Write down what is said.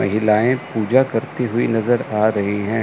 महिलाएं पूजा करती हुई नजर आ रही है।